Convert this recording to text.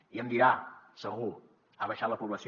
i em dirà segur ha baixat la població